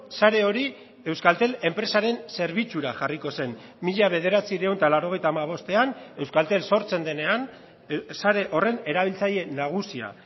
sare hori euskaltel enpresaren zerbitzura jarriko zen mila bederatziehun eta laurogeita hamabostean euskaltel sortzen denean sare horren erabiltzaile nagusia